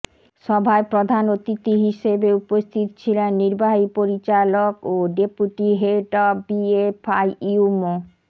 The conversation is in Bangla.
সভায় প্রধান অতিথি হিসেবে উপস্থিত ছিলেন নির্বাহী পরিচালক ও deputy head of BFIU Md